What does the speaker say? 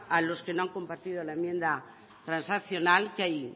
a los que no han compartido la enmienda transaccional que hay